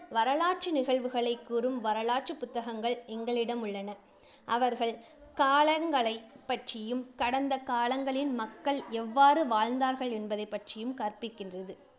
வரலாற்று நிகழ்வுகளை கூறும் வரலாற்று புத்தகங்கள் எங்களிடம் உள்ளன. அவர்கள் காலங்களைப் பற்றியும், கடந்த காலங்களில் மக்கள் எவ்வாறு வாழ்ந்தார்கள் என்பதைப் பற்றியும் கற்பிக்கின்றது